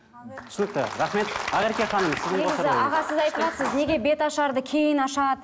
түсінікті рахмет ақерке ханым аға сіз айтыватырсыз неге беташарды кейін ашады